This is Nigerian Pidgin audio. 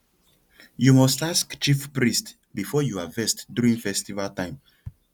you must ask chief priest before you harvest during festival time